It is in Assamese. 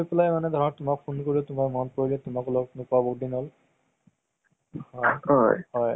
আহ কি কয় এহ ক তোমালোকৰ তেজপুৰত cinema hall আছে ন?